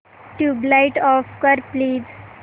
tubelight off कर please